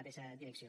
mateixa direcció